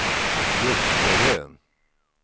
Ljusterö